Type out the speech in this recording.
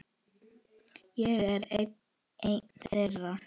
Ég er einn þeirra.